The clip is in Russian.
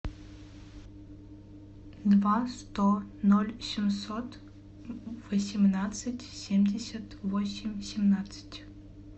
два сто ноль семьсот восемнадцать семьдесят восемь семнадцать